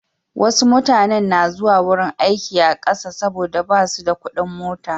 Wasu mutanen na zuwa wurin aiki a ƙasa saboda ba su da kuɗin mota.